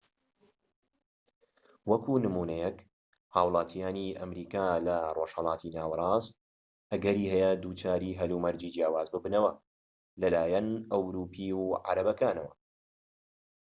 وەکو نمونەیەك هاوڵاتیانی ئەمریکا لە ڕۆژهەڵاتی ناوەڕاست ئەگەری هەیە دووچاری هەلومەرجی جیاواز ببنەوە لەلایەن ئەوروپی و عەرەبەکانەوە